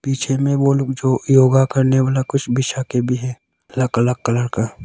पीछे में वो लोग जो योगा करने वाला कुछ बिछा के भी है। अलग अलग कलर का--